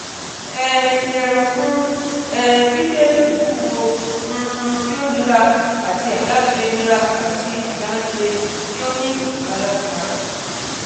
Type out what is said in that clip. um yẹra fun um gbigbe iwuwo um ti o nira ati adaṣe nira ati adaṣe ti o ni ipalara